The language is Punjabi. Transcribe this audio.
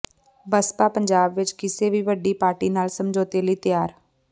ਬਸਪਾ ਪੰਜਾਬ ਵਿੱਚ ਕਿਸੇ ਵੀ ਵੱਡੀ ਪਾਰਟੀ ਨਾਲ ਸਮਝੌਤੇ ਲਈ ਤਿਆਰ